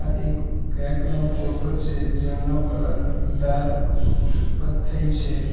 એક કેક નો ફોટો છે જેમનો કલર ડાર્ક કથ્થઈ છે.